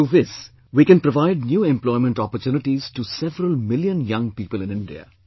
Through this we can provide new employment opportunities to several million young people in India